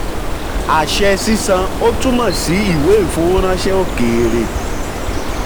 àṣẹ sísan ò túmọ̀ sí ìwé ìfowóránṣẹ́ òkèèrè.